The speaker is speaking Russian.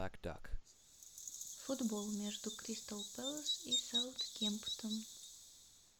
футбол между кристал пэлас и саутгемптон